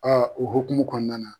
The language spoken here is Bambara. o hukumu kɔnɔna na.